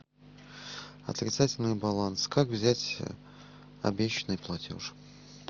отрицательный баланс как взять обещанный платеж